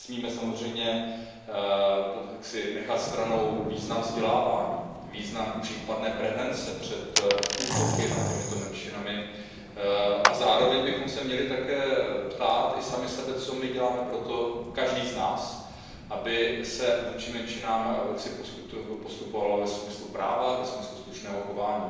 Nesmíme samozřejmě nechat stranou význam vzdělávání, význam případné prevence před útoky na tyto menšiny a zároveň bychom se měli také ptát i sami sebe, co děláme pro to každý z nás aby se vůči menšinám postupovalo ve smyslu práva, ve smyslu slušného chování.